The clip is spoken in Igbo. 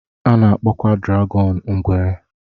A na-akpọkwa dragọn ngwere.